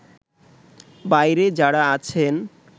বাইরে যারা আছেন